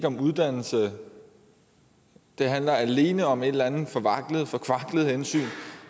om uddannelse det handler alene om et eller andet forkvaklet hensyn